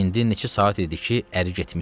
İndi neçə saat idi ki, əri getmişdi.